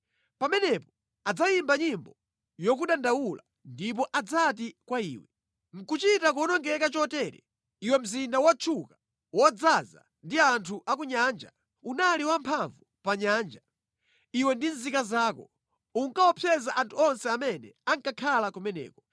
Pamenepo adzayimba nyimbo yokudandaula ndipo adzati kwa iwe: “ ‘Nʼkuchita kuwonongeka chotere, iwe mzinda wotchuka, wodzaza ndi anthu a ku nyanja! Unali wamphamvu pa nyanja, iwe ndi nzika zako; unkaopseza anthu onse amene ankakhala kumeneko.